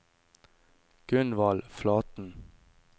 Gunvald Flaten